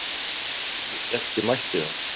Ég hélt ég mætti það.